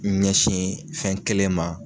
I ɲɛsin fɛn kelen ma.